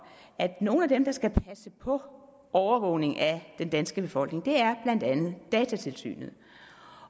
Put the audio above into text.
at nogle af dem der skal passe på overvågning af den danske befolkning blandt er datatilsynet